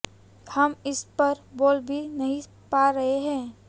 हम इस पर बोल भी नहीं पा रहे हैं